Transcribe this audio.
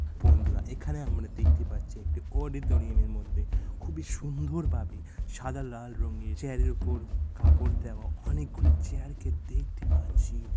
বন্ধুরা এখখানে আমরা দেখতে পাচ্ছি একটি অওডিটোরিয়াম এর মধ্যে খুববই সুন্দরভাবে সাদা লাল রঙের চেয়ার --এর উপর কাপড় দেওয়া অনেকগুলি চেয়ার কে দেখতে পাচ্ছি।